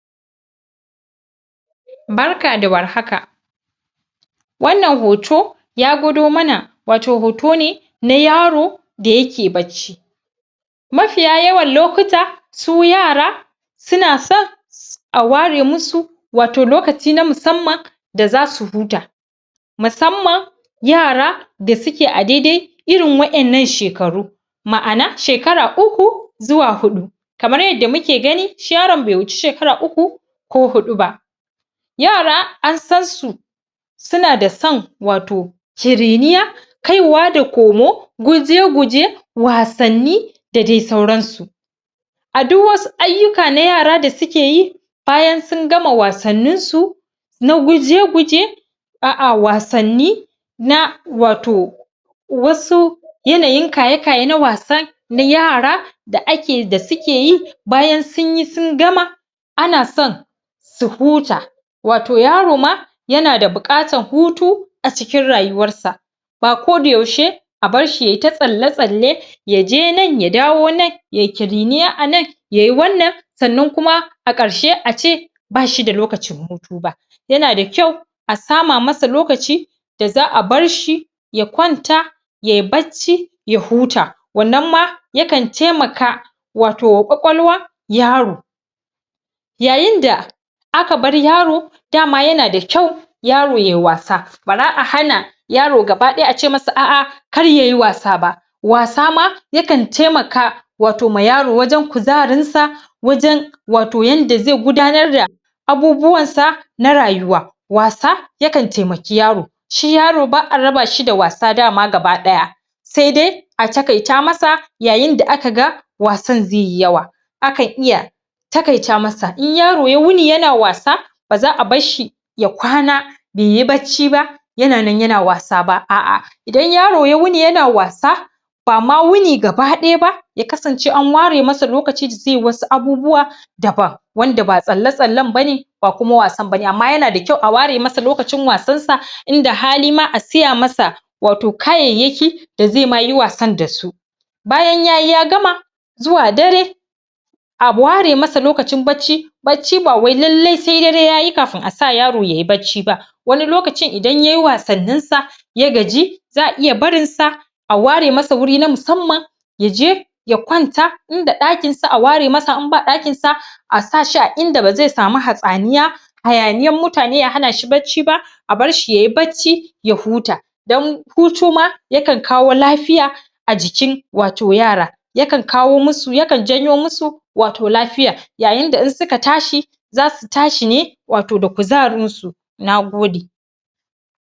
Barka da warhaka wannan hoto ya gwado mana wato hoto ne na yaro da yake barci mafiya yawan lokuta su yara suna son a ware musu wato lokaci na musamman da zasu huta musammam yara da suke a daidai irin wa'yan nan shekaru ma'ana shekara uku zuwa huɗu kamar yadda muke gani shi yaran bai huci shekara uku ko huɗu ba yara an san su suna da san wato ciriniya kaiwa da komo guje-guje wasanni da dai sauransu a duk wasu aiyika na yara da suke yi bayan sun gama wasannin su na guje-guje a'a, wasanni na wato, wasu yanayin kaye-kaye na wasa na yara da ake, da suke yi bayan sunyi sun gama ana son su huta wato yaro ma yana da buƙatar hutu a cikin rayuwar sa ba koda yaushe a barshi yayi ta tsalle-tsalle yaje nan ya dawo nan yayi ƙiriniya a nan yayi wannan sannan kuma a ƙarshe ace bashi da lokacin hutu ba. yana da kyau a sama masa lokaci da za'a barshi ya kwanta yayi barci ya huta wannan ma yakan taimaka wato kwakwalwa yaro yayin da aka bar yaro dama yana da kyau yaro yayi wasa bara a hana yaro gaba ɗaya ace masa a'a kar yayi wasa ba wasa ma yakan taimaka wato ma yaro wajan kuzarinsa wajan wato yadda zai gudanar da abubuwan sa na rayuwa wasa yakan taimaki yaro shi yaro ba'a raba shi da wasa daman gaba ɗaya sai dai a taƙaita masa yayin da aka ga wasan zai yi yawa akan iya taƙaita masa, in yaro ya wuni yana wasa baza a barshi ya kwana baiyi barci ba yana nan yana wasa ba a'a idan yaro ya wuni yana wasa bama wuni gaba ɗaya ba, ya kasance an ware masa lokaci da zai wasu abubuwa daban wanda ba tsalle-tsallen bane ba kuma wasan bane, amma yana kyau a ware masa lokacin wasan sa, inda hali ma a siya masa wato kayayyaki da zai yi ma wasa dasu bayan yayi ya gama zuwa dare a ware masa lokacin barci, barci ba wai lallai sai dare yayi kafin asa yaro yayi barci ba, wani lokacin idan yayi wasannin sa ya gaji za'a iya barin sa a ware masa wuri na musammam yaje ya kwanta, inda ɗakin sa a ware masa, in ba ɗakin sa, asa shin inda ba zai sami hatsaniya hayaniyar mutane ya hana shi barci ba a barshi yayi barci ya huta da hutu ma yakan kawo lafiya a jikin wato yara yakan kawo musu, yakan janyo musu wato lafiya yayin da in suka tashi zasu tashi ne wato da kuzarin su. Nagode